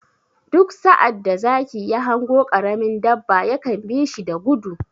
Duk sa'ad da zaki ya hango ƙaramin dabba ya kan bi shi da gudu.